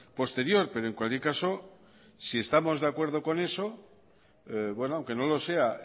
posterior pero en cualquier caso si estamos de acuerdo con es aunque no lo sea